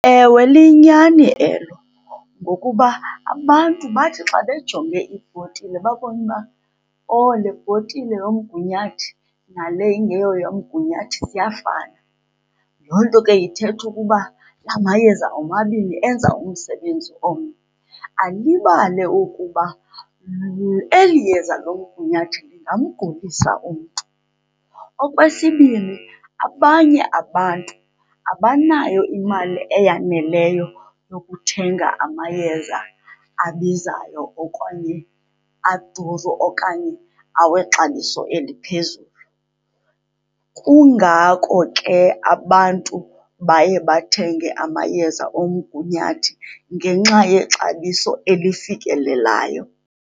Ewe, liyinyani elo ngokuba abantu bathi xa bejonge ibhotile babone uba oh le bhotile yomgunyathi nale ingeyoyamgunyathi ziyafana, loo nto ke ithetha ukuba la mayeza omabini enza umsebenzi omnye. Alibale ukuba eli yeza lomgunyathi lingamgulisa umntu. Okwesibini, abanye abantu abanayo imali eyaneleyo yokuthenga amayeza abizayo okanye aduru okanye awexabiso eliphezulu, kungako ke abantu baye bathenge amayeza omgunyathi, ngenxa yexabiso elifikelelayo.